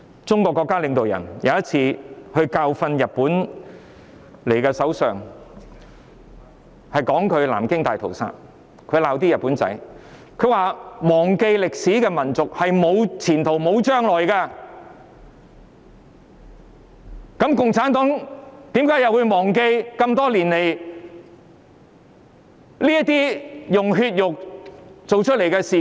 中國國家領導人有一次教訓日本首相，他們提到南京大屠殺並責罵日本人，表示"忘記歷史的民族是沒有前途、沒有將來"，那麼共產黨又怎可以忘記多年來用血肉築成的事件？